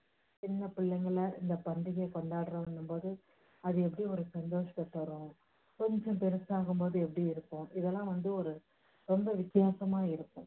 சின்ன பிள்ளைங்கல்ல இந்த பாண்டிகையை கொண்டாடுறோம்னும் போது அது எப்படி ஒரு சந்தோஷத்தை தரும். கொஞ்சம் பெரிசாகும் போது எப்படி இருக்கும் இதெல்லாம் வந்து ரொம்ப வித்தியாசமா இருக்கும்.